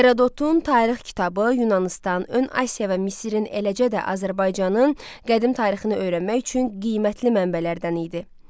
Herodotun tarix kitabı Yunanıstan, Ön Asiya və Misirin, eləcə də Azərbaycanın qədim tarixini öyrənmək üçün qiymətli mənbələrdən idi.